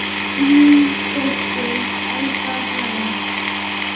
Þín dóttir, Elfa Hrönn.